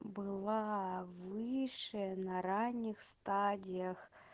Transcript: была выше на ранних стадиях